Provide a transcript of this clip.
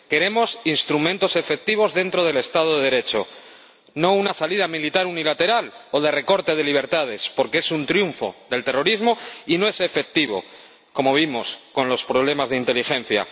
Queremos instrumentos efectivos dentro del Estado de Derecho, no una salida militar unilateral o el recorte de libertades, porque es un triunfo del terrorismo y no es efectivo, como vimos con los problemas de inteligencia.